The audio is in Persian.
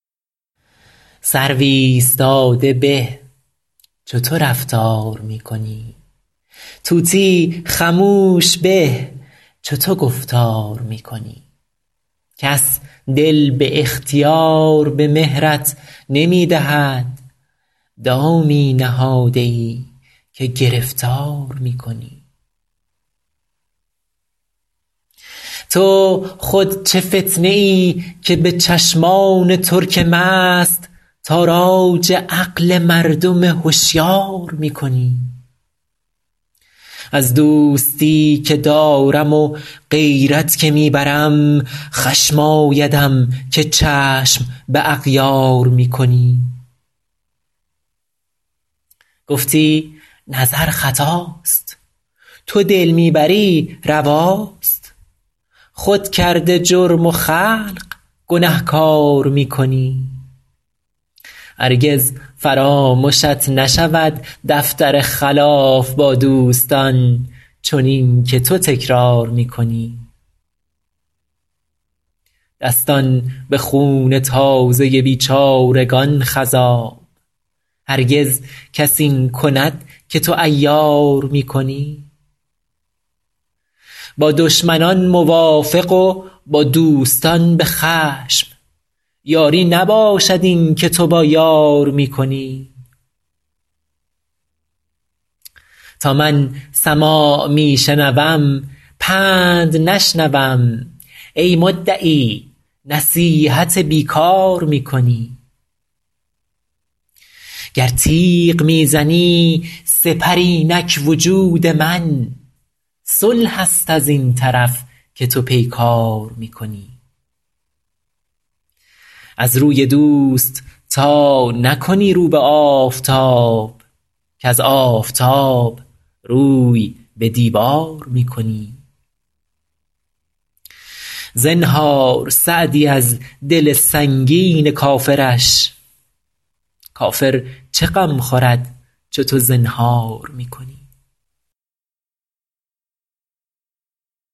سرو ایستاده به چو تو رفتار می کنی طوطی خموش به چو تو گفتار می کنی کس دل به اختیار به مهرت نمی دهد دامی نهاده ای که گرفتار می کنی تو خود چه فتنه ای که به چشمان ترک مست تاراج عقل مردم هشیار می کنی از دوستی که دارم و غیرت که می برم خشم آیدم که چشم به اغیار می کنی گفتی نظر خطاست تو دل می بری رواست خود کرده جرم و خلق گنهکار می کنی هرگز فرامشت نشود دفتر خلاف با دوستان چنین که تو تکرار می کنی دستان به خون تازه بیچارگان خضاب هرگز کس این کند که تو عیار می کنی با دشمنان موافق و با دوستان به خشم یاری نباشد این که تو با یار می کنی تا من سماع می شنوم پند نشنوم ای مدعی نصیحت بی کار می کنی گر تیغ می زنی سپر اینک وجود من صلح است از این طرف که تو پیکار می کنی از روی دوست تا نکنی رو به آفتاب کز آفتاب روی به دیوار می کنی زنهار سعدی از دل سنگین کافرش کافر چه غم خورد چو تو زنهار می کنی